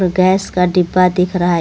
gas का डिब्बा दिख रहा है ए --